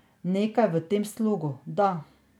Nekaj v tem slogu, da.